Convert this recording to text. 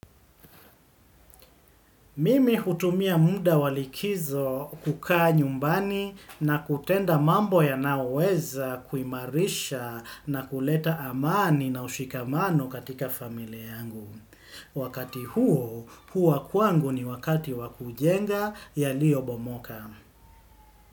Mimi hutumia muda wa likizo kukaa nyumbani na kutenda mambo yanayoweza kuimarisha na kuleta amani na ushikamano katika familia yangu. Wakati huo, huwa kwangu ni wakati wa kujenga yaliobomoka.